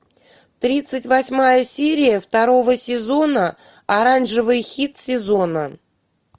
тридцать восьмая серия второго сезона оранжевый хит сезона